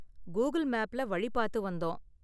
Google மேப்ல வழி பாத்து வந்தோம்.